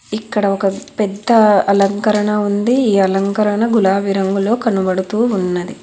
ఇక్కడ ఒక పెద్ద అలంకరణ ఉంది ఈ అలంకరణ గులాబీ రంగులో కనపడుతూ ఉన్నది.